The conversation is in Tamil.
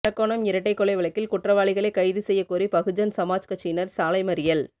அரக்கோணம் இரட்டை கொலை வழக்கில் குற்றவாளிகளை கைது செய்யக்கோரி பகுஜன் சமாஜ் கட்சியினர் சாலை மறியல்